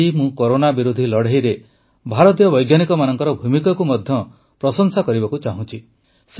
ଆଜି ମୁଁ କରୋନା ବିରୋଧୀ ଲଢ଼େଇରେ ଭାରତୀୟ ବୈଜ୍ଞାନିକମାନଙ୍କର ଭୂମିକାକୁ ମଧ୍ୟ ପ୍ରଶଂସା କରିବାକୁ ଚାହୁଁଛି